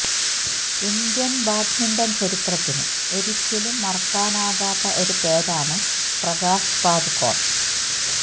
Indian badminton ചരിത്രത്തിന് ഒരിക്കലും മറക്കാനാകാത്ത ഒരു പേരാണ് പ്രകാശ് പദുക്കോൺ